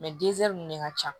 ninnu de ka ca